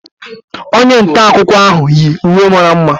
Onye nta akụkọ ahụ yi uwe mara mma